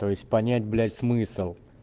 то есть понять блять в смысл